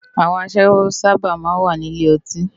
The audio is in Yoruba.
Awòn àṣáwó sàbá má n wá ni ilé òtín